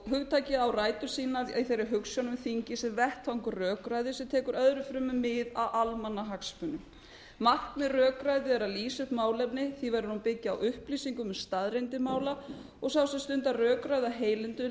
hugtakið á rætur sínar í þeirri hugsjón að þingið sé vettvangur rökræðu sem tekur öðru fremur mið af almannahagsmunum markmið rökræðu er að lýsa upp málefni því verður hún að byggja á upplýsingum um staðreyndir mála og sá sem stundar rökræðu af heilindum